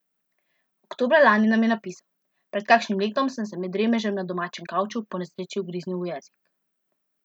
Oktobra lani nam je napisal: "Pred kakšnim letom sem se med dremežem na domačem kavču po nesreči ugriznil v jezik.